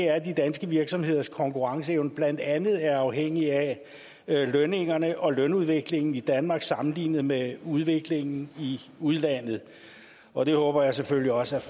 at de danske virksomheders konkurrenceevne blandt andet er afhængig af lønningerne og lønudviklingen i danmark sammenlignet med udviklingen i udlandet og det håber jeg selvfølgelig også at